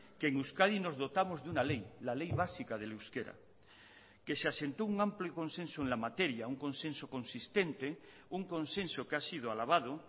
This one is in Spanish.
que en euskadi nos dotamos de una ley la ley básica del euskera que se asentó un amplio consenso en la materia un consenso consistente un consenso que ha sido alabado